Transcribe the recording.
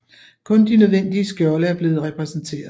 Kun de nødvendige skjolde er blevet repræsenteret